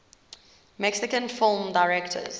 mexican film directors